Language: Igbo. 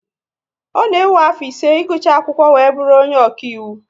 Ọ na ewe afọ ise igucha akwụkwọ wee bụrụ onye ọkaiwu